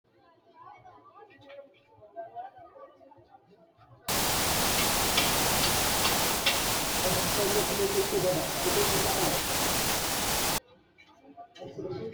Tini aleenni la'neemoti hawulitete woyi sumudaho yine su'minanni woyi woshinanni. Tene hawulite woyi sumudda worannihu mitu manchi gobasira ikko heerano qooxxessira loosinotta woyi uuyinotta owanite la'ne reyiiro xaggeessi qaagisate woranni